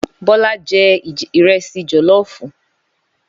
Bólá jẹ́ ìrẹsì jòlófù.